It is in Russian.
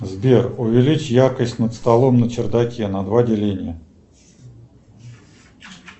сбер увеличь яркость над столом на чердаке на два деления